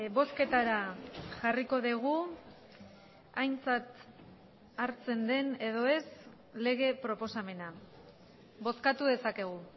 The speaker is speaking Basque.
bozketara jarriko dugu aintzat hartzen den edo ez lege proposamena bozkatu dezakegu